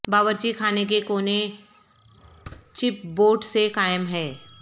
باورچی خانے کے کونے چپ بورڈ سے قائم ہے